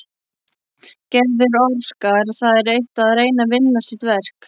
Gerður orkar það eitt að reyna að vinna sitt verk.